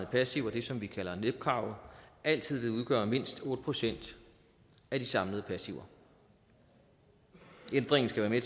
passiver det som vi kalder nep kravet altid vil udgøre mindst otte procent af de samlede passiver ændringen skal være